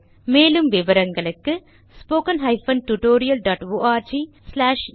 மேலும் விவரங்களுக்கு 2 மூலப்பாடம் டேலன்ட்ஸ்பிரின்ட்